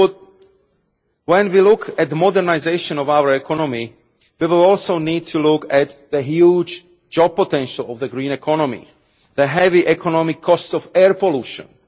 Simply put, when we look at the modernisation of our economy, we will also need to look at the huge job potential of the green economy the heavy economic costs of air pollution